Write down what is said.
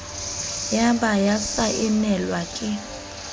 ya ba ya saenelwa ke